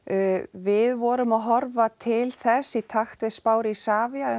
við vorum að horfa til þess í takt við spár Isavia